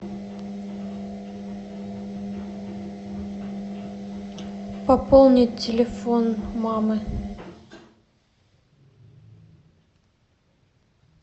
пополнить телефон мамы